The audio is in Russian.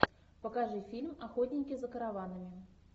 покажи фильм охотники за караванами